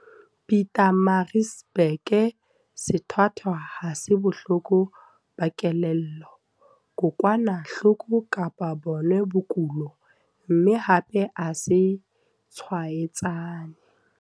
Pietermaritzburg, sethwathwa ha se bohloko ba kelello, kokwanahloko kapa bona bokulo, mme hape ha se tshwaetsane.